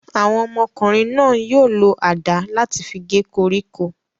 Àwọn ọmọkùnrin náà yóò lo àdá láti fi gé koríko.